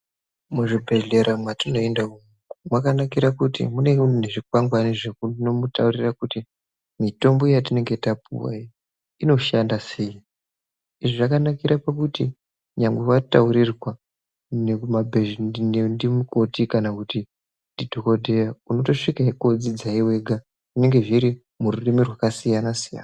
Muzvibhedhlera mwatinoenda umu makanakire kuti munenge mune zvikwangwani zvinomutaurira kuti mutombo yatapuwa iyi inoshande sei .lzvi zvakanakira pakuti nyangwe wataurirwa ndimukoti kana dhokoteya unotosvike kodzidzwo wega zvinenge zviri mururimi rwakasiyana siyana .